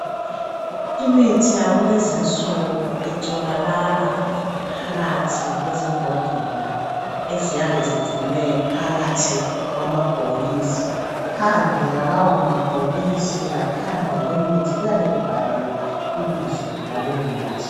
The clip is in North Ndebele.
Imithi yakulezinsuku itholakala phakathi kwalezimbodlela eziyabe zigcinwe phakathi kwamabhokisi phandle kwalawo mabhokisi laphandle kwemithi kuyabe kubhaliwe ibizo lalowo muthi